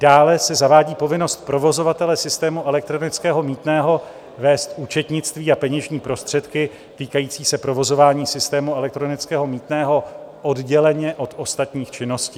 Dále se zavádí povinnost provozovatele systému elektronického mýtného vést účetnictví a peněžní prostředky týkající se provozování systému elektronického mýtného odděleně od ostatních činností.